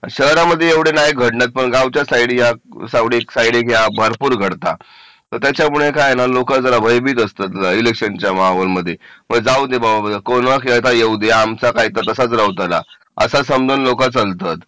शहरामध्ये नाही घडत पण गावच्या साईडला भरपूर घडतात मग त्याच्यामुळे काय ना लोक जरा भयभीत असतात इलेक्शनच्या माहोल मध्ये बर जाऊ दे बाबा कोणी येऊ दे आमचा सगळं तसाच राहू तुला असं समजून लोक चलतात